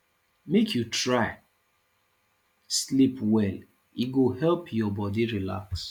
make you try sleep well e go help your bodi relax